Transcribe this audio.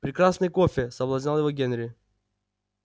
прекрасный кофе соблазнял его генри